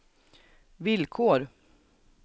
villkor